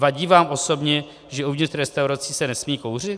Vadí vám osobně, že uvnitř restaurací se nesmí kouřit?